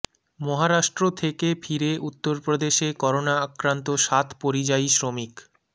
মহারাষ্ট্র থেকে ফিরে উত্তরপ্রদেশে করোনা আক্রান্ত সাত পরিযায়ী শ্রমিক